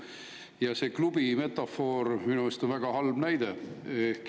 Ja see klubi metafoor minu arust on väga halb näide.